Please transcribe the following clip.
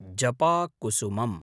जपाकुसुमम्